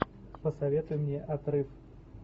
посоветуй мне отрыв